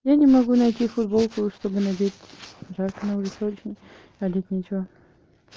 я не могу найти футболку чтобы надеть жарко на улице очень а одеть нечего